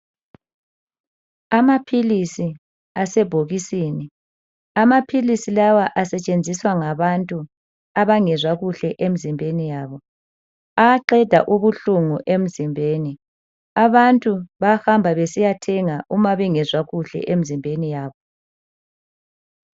Amaphilisi asebhokisini , amaphilisi lawa asetshenziswa ngabantu abangezwa kuhle emzimbeni yabo. Ayaqeda ubuhlungu emzimbeni ,abantu bayahamba besiyathenga uma bengezwa kuhle emzimbeni yabo.